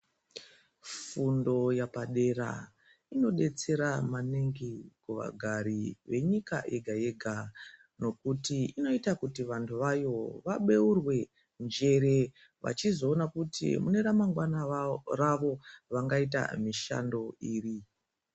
Fundo yepadera inobetsera maningi vagari venyika yega yega nokuti vantu vayo vabeurwe njere vechizoona kuti muneramangwana ravo vangaita mushando iri.